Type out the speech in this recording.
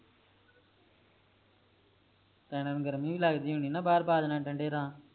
ਪੈਰਾਂ ਨੂੰ ਗਰਮੀ ਵੀ ਲੱਗਦੀ ਹੁਣਿ ਨਾ ਬਾਹਰ ਪਾ ਦੇਨਾ ਠੰਡੇ ਰਾ